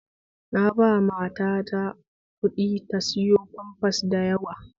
Na ba mata ta kuɗi ta sayo famfas da yawa